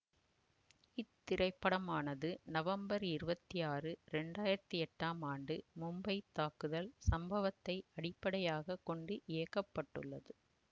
இத்திரைப்படமானது நவம்பர் இருபத்தி ஆறு இரண்டு ஆயிரத்தி எட்டாம் ஆண்டு மும்பைத் தாக்குதல் சம்பவத்தை அடிப்படையாக கொண்டு இயக்கப்பட்டுள்ளது